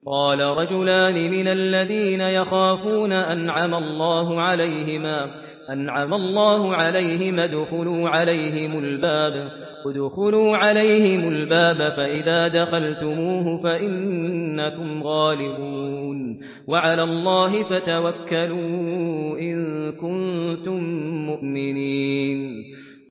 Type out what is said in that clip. قَالَ رَجُلَانِ مِنَ الَّذِينَ يَخَافُونَ أَنْعَمَ اللَّهُ عَلَيْهِمَا ادْخُلُوا عَلَيْهِمُ الْبَابَ فَإِذَا دَخَلْتُمُوهُ فَإِنَّكُمْ غَالِبُونَ ۚ وَعَلَى اللَّهِ فَتَوَكَّلُوا إِن كُنتُم مُّؤْمِنِينَ